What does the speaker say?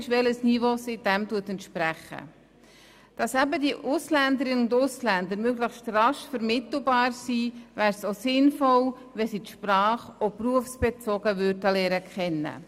Es wäre auch sinnvoll, wenn die Ausländerinnen und Ausländer die Sprache berufsbezogen lernen könnten, damit sie möglichst rasch vermittelbar wären.